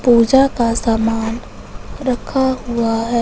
पूजा का सामान रखा हुआ है।